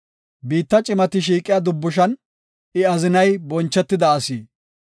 Biitta cimati shiiqiya dubbushan I azinay bonchetida asi.